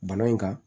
Bana in kan